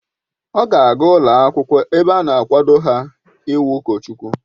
Ọ ga aga ụlọ akwụkwọ ebe a na-akwado ha ị wu ụkọchukwu